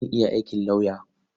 Zan iya aikin lauya.